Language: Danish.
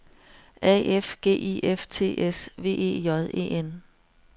A F G I F T S V E J E N